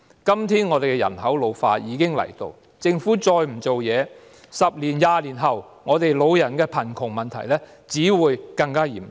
今天，本港人口老化的問題已經逼近，如果政府再不有所行動 ，10 年、20年後，我們的老人貧窮問題只會更嚴重。